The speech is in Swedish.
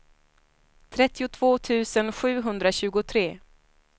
trettiotvå tusen sjuhundratjugotre